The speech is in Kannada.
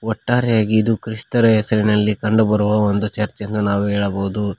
ಒಟ್ಟಾರೆಯಾಗಿ ಇದು ಕ್ರಿಸ್ತರು ಹೆಸರಿನಲ್ಲಿ ಕಂಡು ಬರುವ ಒಂದು ಚರ್ಚ್ ಎಂದು ನಾವು ಹೇಳಬಹುದು.